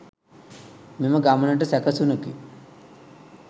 මෙම ගමනටම සැකසුනකි.